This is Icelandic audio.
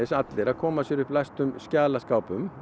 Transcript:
allir að koma sér upp læstum skjalaskápum og